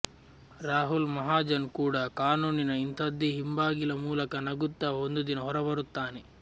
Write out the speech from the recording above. ರಾಹುಲ್ ಮಹಾಜನ್ ಕೂಡ ಕಾನೂನಿನ ಇಂಥದೇ ಹಿಂಬಾಗಿಲ ಮೂಲಕ ನಗುತ್ತ ಒಂದು ದಿನ ಹೊರಬರುತ್ತಾನೆ